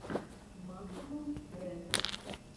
максвелл рэн